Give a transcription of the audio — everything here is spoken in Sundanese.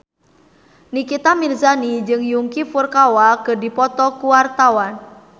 Nikita Mirzani jeung Yuki Furukawa keur dipoto ku wartawan